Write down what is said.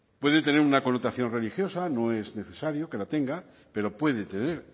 puede tener una connotación religiosa no es necesario que la tenga pero puede tener